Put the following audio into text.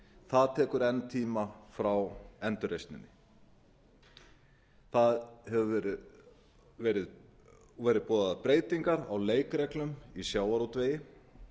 það tekur enn tíma frá endurreisninni það hafa verið boðaðar breytingar á leikreglum í sjávarútvegi